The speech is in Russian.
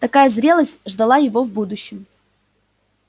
такая зрелость ждала его в будущем